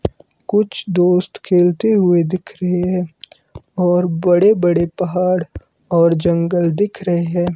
कुछ दोस्त खेलते हुए दिख रहे है और बड़े बड़े पहाड़ और जंगल दिख रहे है।